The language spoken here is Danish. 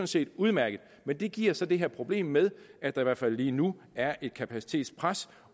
set udmærket men det giver så det her problem med at der i hvert fald lige nu er et kapacitetspres